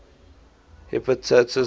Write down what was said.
hepatitis virus